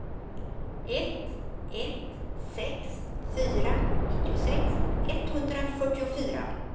ett ett sex fyra nittiosex etthundrafyrtiofyra